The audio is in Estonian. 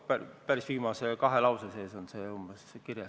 Päris lõpus, umbes viimases kahes lauses on see kirjas.